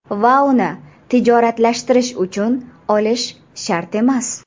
Va uni tijoratlashtirish uchun olish shart emas.